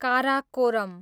Karakoram